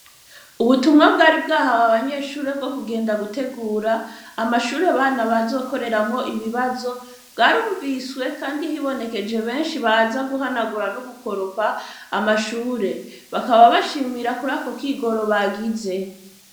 Ubutumwa bw'ari bwahawe abanyeshure bwo kugenda gutegura amashure bana bazokoreramwo ibibazo bwarumviswe, kandi hibonekeje benshi baza guhanagura no gukoropa amashure bakaba bashimira kurako kwigoro bagize.